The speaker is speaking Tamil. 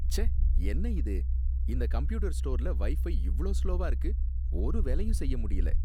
ச்சே! என்ன இது? இந்த கம்ப்யூட்டர் ஸ்டோர்ல வைஃபை இவ்ளோ ஸ்லோவா இருக்கு. ஒரு வேலையும் செய்ய முடியல.